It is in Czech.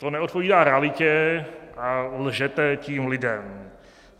To neodpovídá realitě a lžete tím lidem.